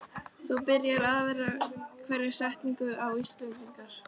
þú byrjar aðra hverja setningu á Íslendingar.